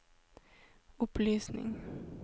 opplysning